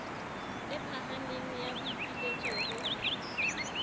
le phahameng ya boipiletso ho